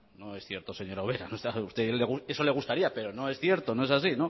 no es cierto señora ubera eso le gustaría pero no es cierto no es así